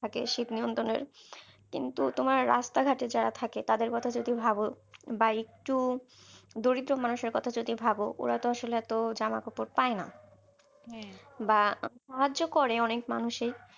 থাকে শীত নিয়ন্ত্রনের কিন্তু তোমার রাস্তাঘাটে যারা থাকে তাদের কথা যদি ভাবো বা একটু দরিদ্র মানুষের কথা যদি ভাবো ওরা তো আসলে এত জামাকাপড় পায়না বা সাহায্য করে অনেক মানুষ ই